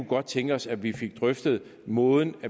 godt tænke os at vi fik drøftet måden